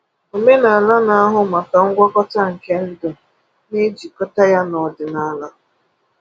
Omenala na-ahụ maka ngwọta nke ndụ na-ejikọta ya na ọdịnaala.